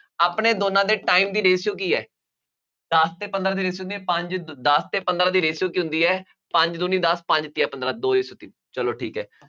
ਆਪਣੇ ਦੋਨਾਂ ਦੇ time ਦੀ ratio ਕੀ ਹੈ, ਦੱਸ ਅਤੇ ਪੰਦਰਾਂ ਦੀ ratio ਹੋ ਸਕਦੀ ਹੈ। ਪੰਜ, ਦੱਸ ਅਤੇ ਪੰਦਰਾਂ ਦੀ ratio ਕੀ ਹੁੰਦੀ ਹੈ, ਪੰਜ ਦੂਣੀ ਦੱਸ, ਪੰਜ ਤੀਆ ਪੰਦਰਾਂ, ਦੋ ratio ਤਿੰਨ, ਚੱਲੋ ਠੀਕ ਹੈ,